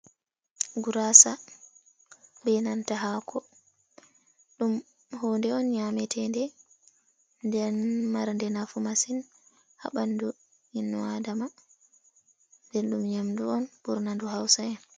Gurasa be nanta hako dum hunde on nyametende den marde nafu masin ha bandu ibnu adama nden dum nyamdu on burna ndu hausa en.